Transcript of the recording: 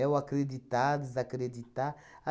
É o acreditar, desacreditar.